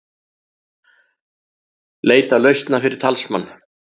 Leita lausna fyrir talsmann